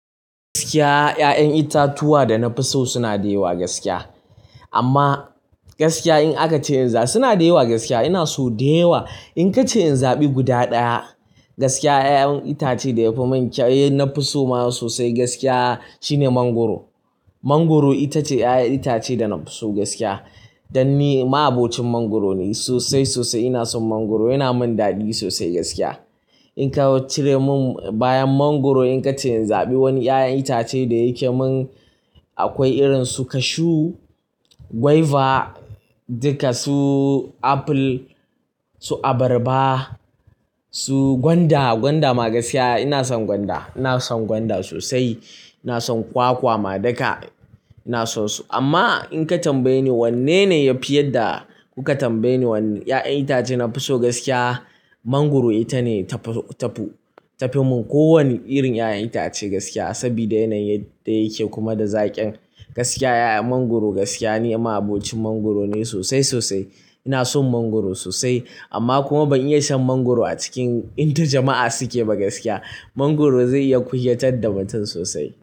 Gaskiya, 'ya'yan itatuwa da na fi so suna da yawa gaskiya. Amma gaskiya in aka ce in za, suna da yawa gaskiya. Ina so da yawa. In ka ce in zaɓi guda ɗaya gaskiya, 'ya'yan itace da yafi min kyau da na fi so sosai gaskiya shine mangwaro. Mangwaro itace 'ya'yan itace da na fi so gaskiya. Dan ni ma'abocin mangwaro ne sosai sosai. Ina son mangwaro, yana min daɗi sosai gaskiya. In ka cire mun bayan mangwaro in ka ce in zaɓi wani 'ya'yan itace da yake mun, akwai irin su cashew, guava, duka su apple, su abarba, su gwanda. Gwanda ma gaskiya ina son gwanda. Ina son gwanda sosai. Ina son kwakwa ma daka. Ina son su. Amma in ka tambaye ni wanne ne yafi yadda kuka tambaye ni wanne 'ya'yan itace na fi so gaskiya, mangwaro ita ne ta fi mun ko wani irin 'ya'yan itace gaskiya. Sabida yanayin da yake kuma da zaƙin gaskiya 'ya'yan mangwaro gaskiya. Ni ma'abocin mangwaro ne sosai sosai. Ina son mangwaro sosai amma kuma ban iya shan mangwaro a cikin inda jama'a suke ba gaskiya. Mangwaro zai iya kunyatar da mutum sosai.